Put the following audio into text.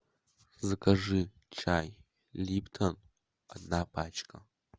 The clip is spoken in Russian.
закажи чай липтон одна пачка